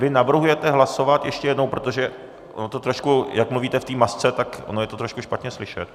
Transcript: Vy navrhujete hlasovat ještě jednou, protože ono to trošku, jak mluvíte v té masce, tak ono je to trošku špatně slyšet.